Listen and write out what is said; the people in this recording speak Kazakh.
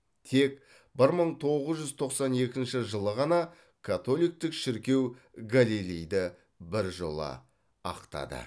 тек бір мың тоғыз жүз тоқсан екінші жылы ғана католиктік шіркеу галилейді біржола ақтады